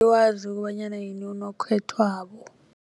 Angiwazi kobanyana yini unokhethwabo.